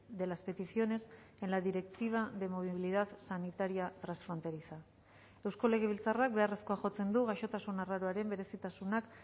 de las peticiones en la directiva de movilidad sanitaria transfronteriza eusko legebiltzarrak beharrezkoa jotzen du gaixotasun arraroaren berezitasunak